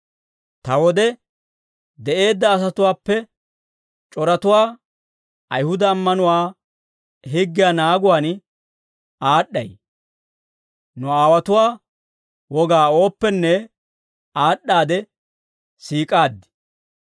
Ta wode de'eedda asatuwaappe c'oratuwaa Ayihuda ammanuwaa higgiyaa naaguwaan aad'd'ay; nu aawotuwaa wogaa ooppenne aad'd'aade siik'aaddi.